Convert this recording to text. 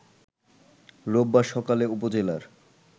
রোববার সকালে উপজেলার